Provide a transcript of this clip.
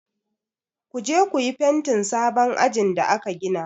Ku je ku yi fentin sabon ajin da aka gina!